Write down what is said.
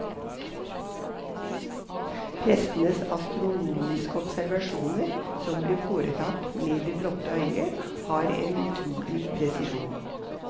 Prestenes astronomiske observasjoner, som ble foretatt med det blotte øye, hadde en utrolig presisjon.